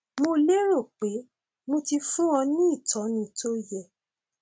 mo lérò pé mo ti fún ọ ní ìtọni tó yẹ